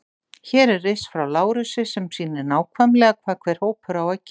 Hér er riss frá Lárusi sem sýnir nákvæmlega hvað hver hópur á að gera.